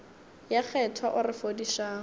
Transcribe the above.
ye kgethwa o re fodišang